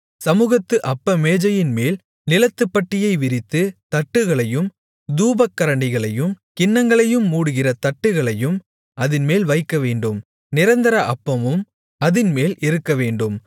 சமுகத்து அப்ப மேஜையின்மேல் நீலத்துப்பட்டியை விரித்து தட்டுகளையும் தூபக்கரண்டிகளையும் கிண்ணங்களையும் மூடுகிற தட்டுகளையும் அதின்மேல் வைக்கவேண்டும் நிரந்தர அப்பமும் அதின்மேல் இருக்கவேண்டும்